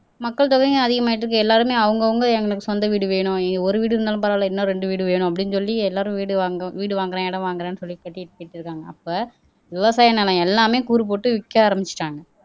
மக்கள் தொகையும் அதிகமாயிட்டு இருக்கு எல்லாருமே அவுங்க அவுங்க எங்களுக்கு சொந்த வீடு வேணும் ஒரு வீடு இருந்தாலும் பரவால்ல இன்னும் ரெண்டு வீடு வேணும் அப்படீன்னு சொல்லி எல்லாரும் வீடு வாங்க வீடு வாங்குறேன் இடம் வாங்குறேன்னு சொல்லி கட்டிட்டு இருக்காங்க அப்ப விவசாய நிலம் எல்லாமே கூறு போட்டு விக்க ஆரம்பிச்சுட்டாங்க